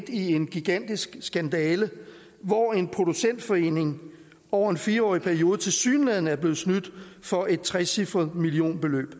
i en gigantisk skandale hvor en producentforening over en fire årig periode tilsyneladende er blevet snydt for et trecifret millionbeløb